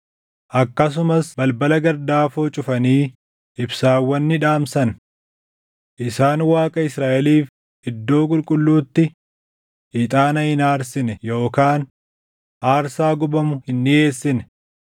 Akkasumas balbala gardaafoo cufanii ibsaawwan ni dhaamsan. Isaan Waaqa Israaʼeliif iddoo qulqulluutti ixaana hin aarsine yookaan aarsaa gubamu hin dhiʼeessine.